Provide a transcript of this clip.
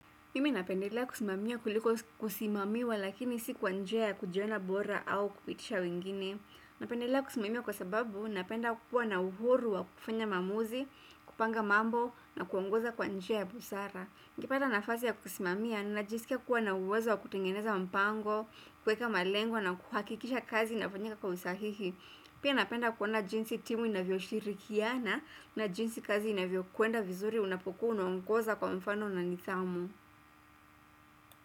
Mimi napendelea kusimamia kuliko kusimamiwa lakini si kwa njia kujiona bora au kupitisha wengine. Napendelea kusimamia kwa sababu napenda kukua na uhuru wa kufanya maamuzi, kupanga mambo na kuongoza kwa njia ya busara. Ningepata nafasi ya kusimamia, ninajisikia kuwa na uwezo wa kutengeneza mpango, kuweka malengo na kuhakikisha kazi inafanyika kwa usahihi. Pia napenda kuona jinsi timu inavyoshirikiana na jinsi kazi inavyokwenda vizuri unapokuwa unaongoza kwa mfano na nidhamu.